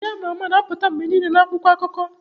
Ndị a ma ama na-apụta mgbe niile na akwụkwọ akụkọ